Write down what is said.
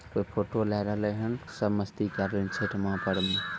कोई फोटो लागल रेलहन सब मस्ती करले छठ महापर्व में।